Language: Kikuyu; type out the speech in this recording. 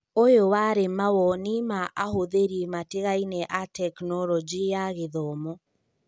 ũyũ warĩ mawoni ma ahũthĩri matigaine a Tekinoronjĩ ya Gĩthomo.